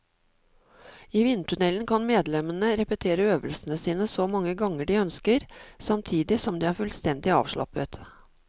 I vindtunnelen kan medlemmene repetere øvelsene sine så mange ganger de ønsker, samtidig som de er fullstendig avslappet.